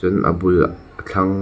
tin a bulah a thlang